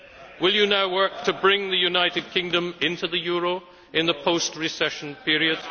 Will you now work to bring the United Kingdom into the euro in the post recession period?